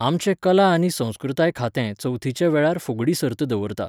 आमचें कला आनी संस्कृताय खातें चवथीच्या वेळार फुगडी सर्त दवरता.